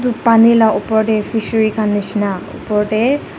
ru pani la opor tae fishery khan nishina opor tae.